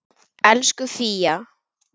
Elsku Fía.